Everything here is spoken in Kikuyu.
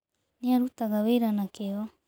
Nĩ arutaga wĩra na kĩyo.